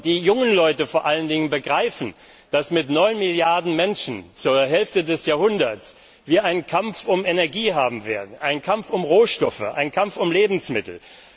Die jungen Leute vor allen Dingen begreifen, dass wir mit 9 Milliarden Menschen zur Hälfte des Jahrhunderts einen Kampf um Energie haben werden, einen Kampf um Rohstoffe, einen Kampf um Lebensmittel.